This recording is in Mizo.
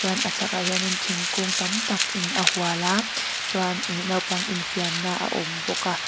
chuan a chhak ah hian in thingkung tam takin a hual a chuan naupang infiamna a awm bawk a.